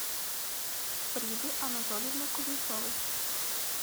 фриды анатольевны кузнецовой